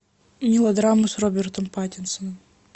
мелодрамы с робертом паттинсоном